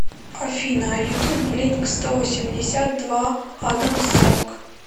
афина ютуб блинк сто восемьдесят два адамс сонг